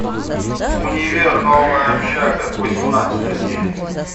универ новая общага восемнадцатая серия